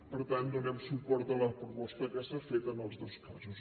per tant donem suport a la proposta que s’ha fet en els dos casos